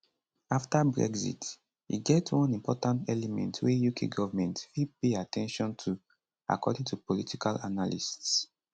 afta brexit e get one important element wey uk government fit pay at ten tion to according to political analysts